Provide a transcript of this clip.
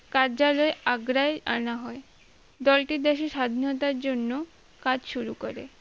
কার্যালয় আগরাই আনা হয় দলটি দেশি স্বাধীনতার জন্য কাজ শুরু করে